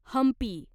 Hampi